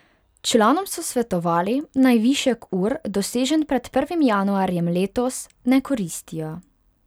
Članom so svetovali, naj višek ur, dosežen pred prvim januarjem letos, ne koristijo.